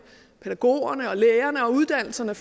pædagogerne lærerne og uddannelserne